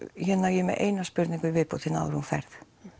ég er með eina spurningu hérna áður en þú ferð